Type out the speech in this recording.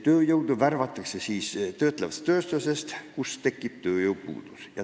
Tööjõudu värvatakse töötlevast tööstusest, kus tekib tööjõupuudus.